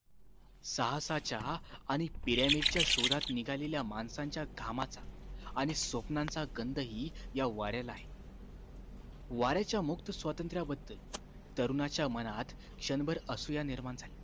साहसाच्या आणि पिरॅमिडच्या शोधात निघालेल्या माणसाच्या घामाचा आणि स्वप्नाचा गंध हि या वाऱ्याला आहे वाऱ्याच्या मुक्त स्वातंत्र्याबद्दल तरुणाच्या मनात क्षणभर असूया निर्माण झाली